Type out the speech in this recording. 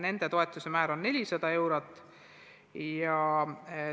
Nende toetuse määr on 400 eurot.